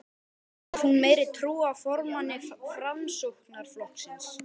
Hefur hún meiri trú á formanni Framsóknarflokksins?